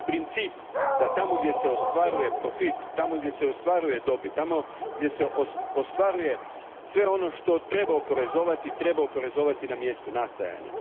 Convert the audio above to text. Princip je da tamo gdje se ostvaruje profit, tamo gdje se ostvaruje dobit, tamo gdje se ostvaruje sve ono što treba oporezovati, treba oporezovati na mjestu nastajanja.